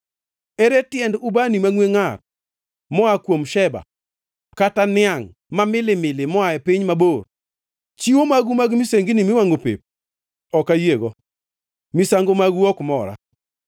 Ere tiend ubani mangʼwe ngʼar moa kuom Sheba kata niangʼ ma milimili moa e piny mabor? Chiwo magu mag misengini miwangʼo pep ok ayiego; misango magu ok mora.”